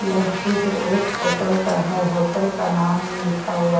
यह चित्र एक होटल का है होटल का नाम लिखा हुआ--